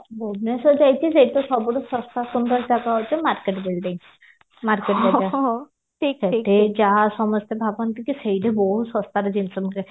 ଭୁବନେଶ୍ଵର ଯାଇଚି ସେଇଠିତ ସବୁଠୁ ସସ୍ଥା ସୁନ୍ଦର ଜାଗା ହଉଚି market building market building ଯାହା ସମସ୍ତେ ଭାବନ୍ତି କି ସେଇଠି ବହୁତ ସସ୍ଥାରେ ଜିନିଷ ମିଳେ